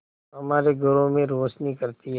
हमारे घरों में रोशनी करती है